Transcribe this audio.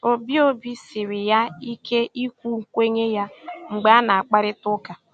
Obi Obi siri ya ike ikwu nkwenye ya mgbe a na akparịta ụka